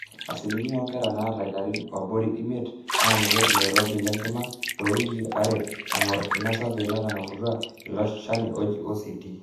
asilimia oonkera naata ilarin abori eimiet naanoto oloirobi lenkima toowikii are eng'or ina survey netang'amutua ilo shani oji ACT